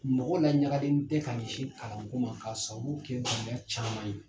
Mɔgɔ laɲagalen tɛ ka ɲɛsin kalanko ma ka sabu kɛ gɛlɛya caman ye.